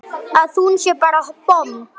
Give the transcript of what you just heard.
Að hún sé bara bomm!